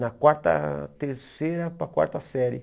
Na quarta terceira para a quarta série.